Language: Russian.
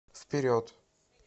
вперед